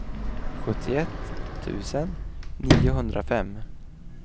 sjuttioett tusen niohundrafem